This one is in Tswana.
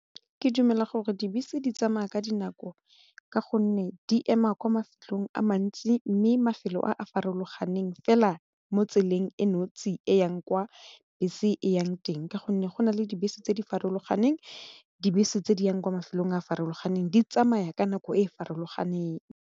Ke dumela gore dibese di tsamaya ka dinako ka gonne di ema kwa mafelong a mantsi mme mafelo a a farologaneng fela mo tseleng e nosi e yang kwa bese e yang teng ka gonne go na le dibese tse di farologaneng, dibese tse di yang kwa mafelong a farologaneng di tsamaya ka nako e e farologaneng.